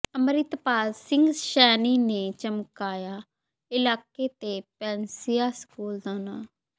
ਅੰਮਿ੍ਤਪਾਲ ਸਿੰਘ ਸੈਣੀ ਨੇ ਚਮਕਾਇਆ ਇਲਾਕੇ ਤੇ ਪੈਨਸੀਆ ਸਕੂਲ ਦਾ ਨਾਂਅ